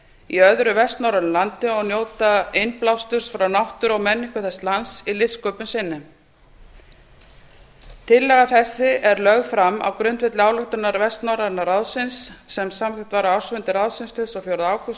í öðru vestnorrænu landi og njóta innblásturs frá náttúru og menningu þess lands í listsköpun sinni tillaga þessi er lögð fram á grundvelli ályktunar vestnorræna ráðsins sem samþykkt var á ársfundi ráðsins tuttugasta og fjórða ágúst tvö